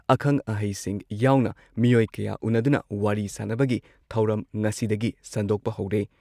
ꯑꯈꯪ ꯑꯍꯩꯁꯤꯡ ꯌꯥꯎꯅ ꯃꯤꯑꯣꯏ ꯀꯌꯥ ꯎꯟꯅꯗꯨꯅ ꯋꯥꯔꯤ ꯁꯥꯅꯕꯒꯤ ꯊꯧꯔꯝ ꯉꯁꯤꯗꯒꯤ ꯁꯟꯗꯣꯛꯄ ꯍꯧꯔꯦ